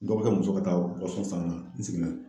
Dɔ bɛ kɛ muso ka taa san ka na n seginna